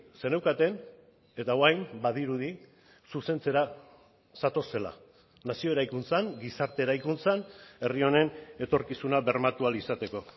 zeneukaten eta orain badirudi zuzentzera zatozela nazio eraikuntzan gizarte eraikuntzan herri honen etorkizuna bermatu ahal izateko